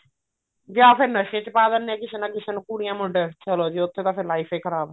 ਜਾਂ ਫ਼ੇਰ ਨਸ਼ੇ ਚ ਪਾ ਦਿੰਨੇ ਆ ਕਿਸੇ ਨਾ ਕਿਸੇ ਨੂੰ ਕੁੜੀਆਂ ਮੁੰਡੀਆਂ ਨੂੰ ਚਲੋ ਜੀ ਉੱਥੇ ਤਾਂ ਫ਼ੇਰ life ਹੀ ਖਰਾਬ